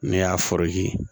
Ne y'a